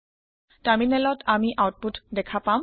টাৰমিনেলত আমি আওতপুত দেখা পাম